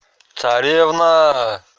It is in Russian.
царевна